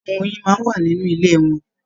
Ṣe àwọn oyin máa n wà nínú ilé wọn?